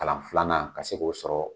Kalan filanan ka se k'o sɔrɔ